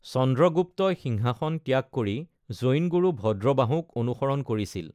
চন্দ্ৰগুপ্তই সিংহাসন ত্যাগ কৰি জৈন গুৰু ভদ্ৰবাহুক অনুসৰণ কৰিছিল।